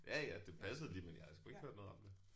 Ja ja det passede lige men jeg havde sgu ikke hørt noget om det